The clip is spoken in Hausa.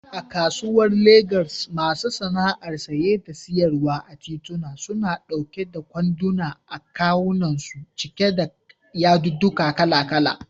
A kasuwar Legas, masu sana'ar saye da siyarwa a tituna, suna ɗauke da kwanduna a kawunansu cike da yadudduka kala-kala.